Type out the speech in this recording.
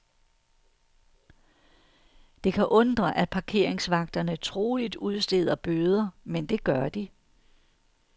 Det kan undre, at parkeringsvagterne troligt udsteder bøder, men det gør de.